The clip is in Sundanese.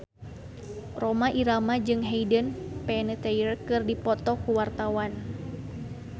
Rhoma Irama jeung Hayden Panettiere keur dipoto ku wartawan